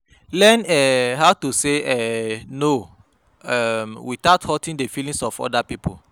Learn um how to sey um no um without hurting di feelings of oda pipo